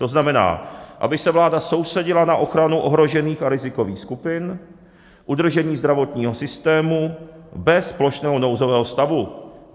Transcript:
To znamená, aby se vláda soustředila na ochranu ohrožených a rizikových skupin, udržení zdravotního systému bez plošného nouzového stavu.